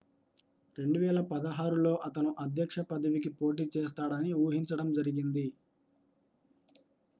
2016లో అతను అధ్యక్ష పదవికి పోటీ చేస్తాడని ఊహించడం జరిగింది